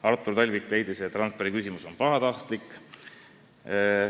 Artur Talvik leidis, et Randpere küsimus on pahatahtlik.